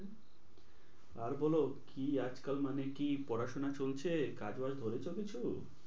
আর বলো কি আজকাল মানে কি পড়াশোনা চলছে? কাজ বাজ ধরেছো কিছু?